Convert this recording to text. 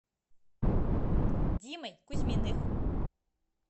димой кузьминых